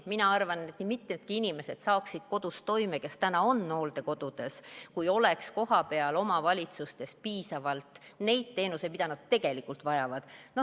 Mina arvan, et nii mitmedki inimesed, kes täna on hooldekodudes, saaksid kodus hakkama, kui oleks kohapeal omavalitsustes piisavalt neid teenuseid, mida nad tegelikult vajavad.